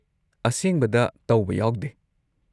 ꯑꯁꯦꯡꯕꯗ ꯇꯧꯕ ꯌꯥꯎꯗꯦ꯫